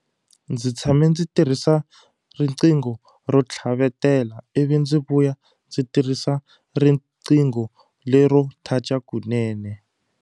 Ndzi tshame ndzi tirhisa riqingho ro tlhavetela ivi ndzi vuya ndzi tirhisa riqingho lero touch-a kunene.